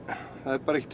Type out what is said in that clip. það er bara ekkert